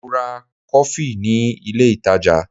Mo ra kọfí ni ilé ìtajà.